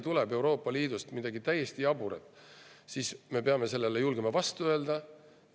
Kui Euroopa Liidust tuleb midagi täiesti jaburat, siis me peame julgema sellele vastu.